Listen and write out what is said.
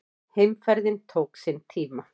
Heimferðin tók sinn tíma.